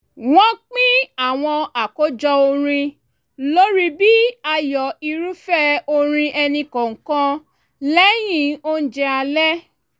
wọ́n pín àwọn àkójọ orin lórí bí ààyò irúfẹ́ orin ẹnìkọ̀ọ̀kan lẹ́yìn oúnjẹ alẹ́